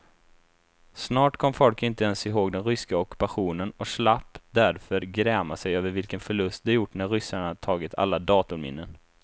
Snart kom folk inte ens ihåg den ryska ockupationen och slapp därför gräma sig över vilken förlust de gjort när ryssarna tagit alla datorminnen.